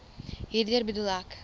hierdeur bedoel ek